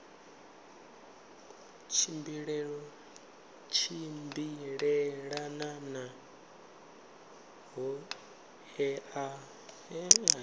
tshimbilelana na ṱhoḓea dza nqf